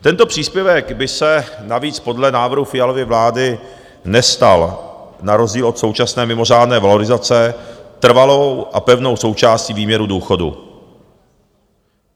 Tento příspěvek by se navíc podle návrhu Fialovy vlády nestal na rozdíl od současné mimořádné valorizace trvalou a pevnou součástí výměru důchodu.